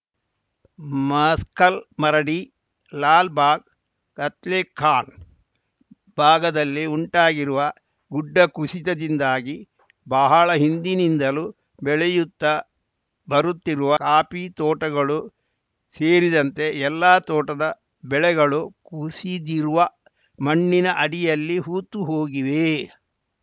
muscle Maradi Lal Bagh Katlekhan ಭಾಗದಲ್ಲಿ ಉಂಟಾಗಿರುವ ಗುಡ್ಡ ಕುಸಿತದಿಂದಾಗಿ ಬಹಳ ಹಿಂದಿನಿಂದಲೂ ಬೆಳೆಯುತ್ತಾ ಬರುತ್ತಿರುವ ಕಾಫಿ ತೋಟಗಳು ಸೇರಿದಂತೆ ಎಲ್ಲಾ ತೋಟದ ಬೆಳೆಗಳು ಕುಸಿದಿರುವ ಮಣ್ಣಿನ ಅಡಿಯಲ್ಲಿ ಹೂತು ಹೋಗಿವೆ